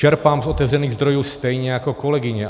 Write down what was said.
Čerpám z otevřených zdrojů stejně jako kolegyně.